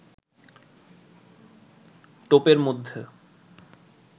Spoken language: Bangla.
টোপের মধ্য